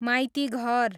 Maitighar